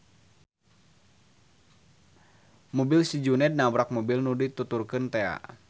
Mobil si Juned nabrak mobil nu dituturkeun tea.